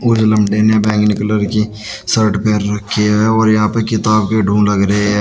कुछ बैगनी कलर की शर्ट पहन रखी है और यहां पर किताब के ढूंढ लग रहे हैं।